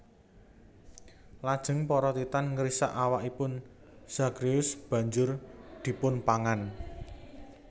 Lajeng para Titan ngrisak awakipun Zagreus banjur dipunpangan